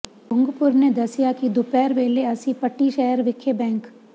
ਭੁੱਗੂਪੁਰ ਨੇ ਦੱਸਿਆ ਕਿ ਦੁਪਿਹਰ ਵੇਲੇ ਅਸੀ ਪੱਟੀ ਸ਼ਹਿਰ ਵਿਖੇ ਬੈਂਕ